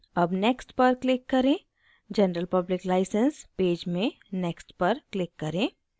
अब next पर click करें general public license पेज में next पर click करें